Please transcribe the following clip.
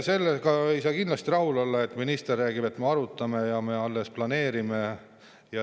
Sellega ei saa kindlasti rahul olla, et minister räägib, et me alles arutame ja planeerime.